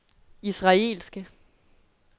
israelske